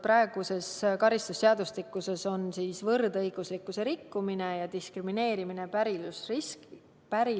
Praeguses karistusseadustikus on: "Võrdõiguslikkuse rikkumine" ja "Diskrimineerimine pärilikkusriskide alusel".